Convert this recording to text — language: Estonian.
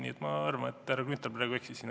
Nii et ma arvan, et härra Grünthal praegu eksis siin.